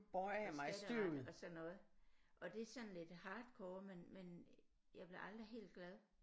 Og skatteret og sådan noget og det er sådan lidt hardcore men men jeg blev aldrig helt glad